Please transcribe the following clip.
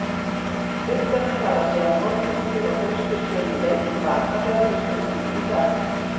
Fiskarnir fara síðan holdmiklir og hraustir sömu leið til baka þegar haustið gengur í garð.